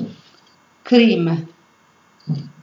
Krij me.